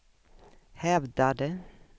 hävdade